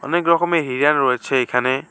অনেক রকমের হিরান রয়েছে এখানে।